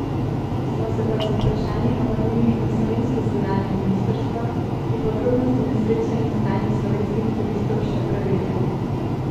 Smo se pa z vprašanji obrnili na slovensko zunanje ministrstvo, ki podrobnosti nesreče in stanje slovenskih turistov še preverja.